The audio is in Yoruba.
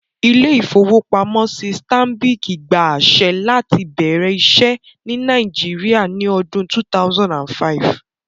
Ilé-ìfowópamọ́sí Stanbic gba àṣẹ láti bẹ̀rẹ̀ iṣẹ́ ní Nàìjíríà ní ọdún 2005